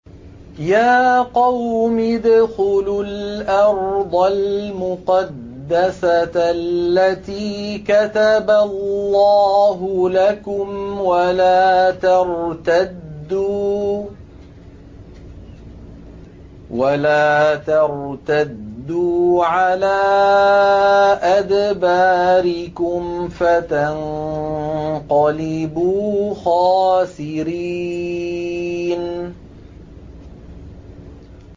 يَا قَوْمِ ادْخُلُوا الْأَرْضَ الْمُقَدَّسَةَ الَّتِي كَتَبَ اللَّهُ لَكُمْ وَلَا تَرْتَدُّوا عَلَىٰ أَدْبَارِكُمْ فَتَنقَلِبُوا خَاسِرِينَ